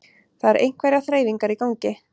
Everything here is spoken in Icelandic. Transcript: Það eru einhverjar þreifingar í gangi